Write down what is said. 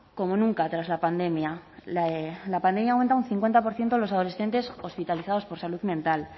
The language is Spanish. como nunca tras la pandemia la pandemia aumenta un cincuenta por ciento los adolescentes hospitalizados por salud mental